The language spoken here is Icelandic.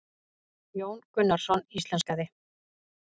Jón Gunnarsson íslenskaði.